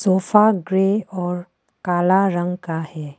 Sofa grey और काला रंग का है।